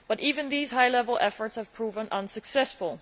But even these high level efforts have proven unsuccessful.